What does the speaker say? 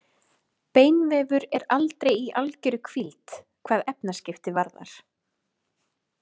Beinvefur er aldrei í algjörri hvíld hvað efnaskipti varðar.